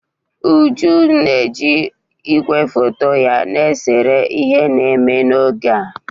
Uju ji ígwè foto ya na-esere ihe na-eme n'oge a.